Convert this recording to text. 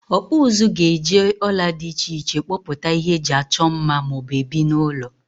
Okpu uzu ga eje ola di iche iche kpoputa ihe eji Acho mma ma o bu ebi n'ulo.